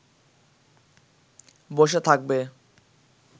বসে থাকবে